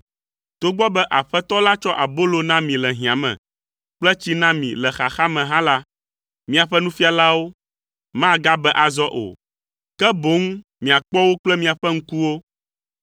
Togbɔ be Aƒetɔ la tsɔ abolo na mi le hiã me, kple tsi na mi le xaxa me hã la, miaƒe nufialawo magabe azɔ o, ke boŋ miakpɔ wo kple miaƒe ŋkuwo.